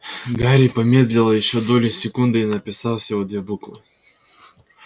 гарри помедлило ещё долю секунды и написал всего две буквы